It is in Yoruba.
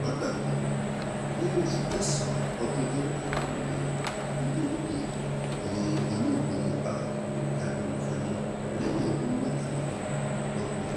tẹ́ ò bá gbàgbé nínú oṣù kẹsàn-án ọdún twenty twenty three ni olóògbé ni olóògbé mohbad dágbére fáyé lẹ́ni ọdún mẹ́tàdínlọ́gbọ̀n